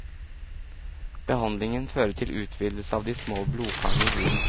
Behandlingen fører til utvidelse av de små blodkarene i huden.